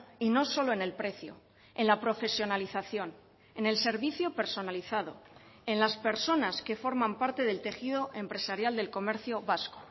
y no solo en el precio en la profesionalización en el servicio personalizado en las personas que forman parte del tejido empresarial del comercio vasco